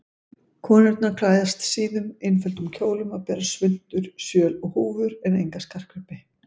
Konurnar klæðast síðum, einföldum kjólum og bera svuntur, sjöl og húfur en enga skartgripi.